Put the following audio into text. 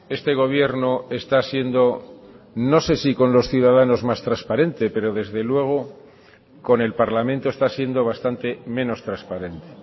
este gobierno está siendo no sé si con los ciudadanos más transparente pero desde luego con el parlamento está siendo bastante menos transparente